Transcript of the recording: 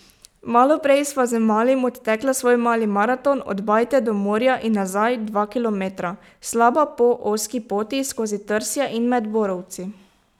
Malo prej sva z Malim odtekla svoj mali maraton od bajte do morja in nazaj, dva kilometra, slaba, po ozki poti skozi trsje in med borovci.